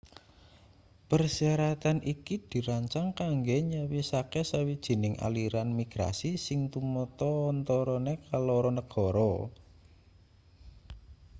persyaratan iki dirancang kanggo nyawisake sawijining aliran migrasi sing tumata antarane keloro negara